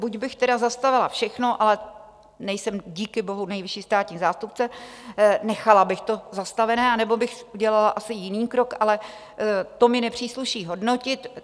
Buď bych tedy zastavila všechno, ale nejsem díky bohu nejvyšší státní zástupce, nechala bych to zastavené, anebo bych udělala asi jiný krok, ale to mi nepřísluší hodnotit.